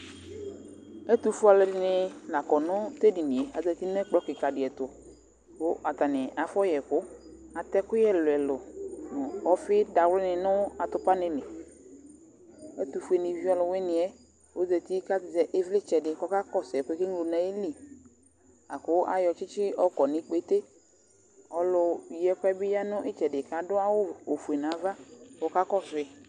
Ɛtʊfʊeɔlʊ ɛdini la ƙɔ ŋʊ tʊ edɩnɩe ŋʊ ɛkplɔ kika dɩ ɛtʊ, ƙʊ ataŋɩ afɔ ƴɛkʊ Atɛ ɛƙʊƴɛ ɛlʊɛlʊ ŋʊ ɔfɩ dawlɩbnɩ ŋʊ atʊpa ŋɩlɩ Ɛtʊfʊe nɩʋɩ ɔlʊwʊɩŋɩ ƴɛ ɔzatɩ ƙa zɛ ɩʋlɩtsɛ dɩ ƙɔ ƙasʊ ɛƙʊɛ keglo dʊ nu ayɩlɩ, aƙʊ aƴɔ tsɩtsɩbƴɔƙɔ ŋʊ ɩƙpete Ɔlʊƴɩ ɛkʊɛ ɓɩ ƴa ŋʊ ɩtsɛdɩ ƙa adʊ awʊ ofʊe ŋaʋa ƙɔ ƙaƙɔsʊ ƴɩ